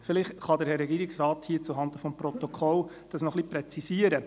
Vielleicht kann der Herr Regierungsrat zuhanden des Protokolls dies noch etwas präzisieren.